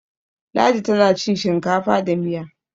Ladi tana cin shinkafa da Miya